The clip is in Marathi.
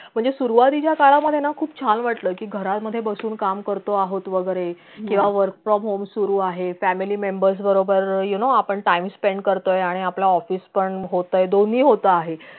म्हणजे सुरवातीच्या काळा मधे ना खूप छान वाटला कि घरामधे बसून काम करतो आहोत वगरे किंवा work from home सुरु आहे family members बरोबर you know आपण time spent करतोय आणि आपल office पण होतंय दोनी होत आहे